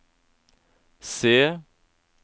C